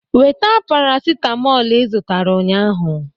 Weta paracetamolu ị zụtara ụnyahụ!